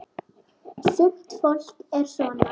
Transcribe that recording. Sumt fólk er svona.